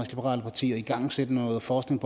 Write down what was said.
liberale parti at igangsætte noget forskning